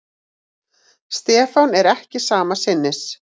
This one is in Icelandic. Stefán er ekki sama sinnis.